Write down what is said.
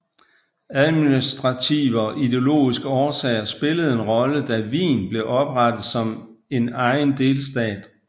Administrative og ideologiske årsager spillede en rolle da Wien blev oprettet som en egen delstat